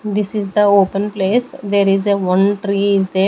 This is the open place there is a one tree is there.